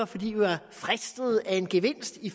fordi vi var fristet af en gevinst i